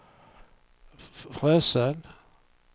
Frösön